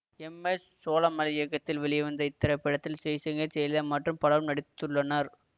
M S Solamalai இயக்கத்தில் வெளிவந்த இத்திரைப்படத்தில் ஜெய்சங்கர் ஜெயலலிதா மற்றும் பலரும் நடித்துள்ளனர்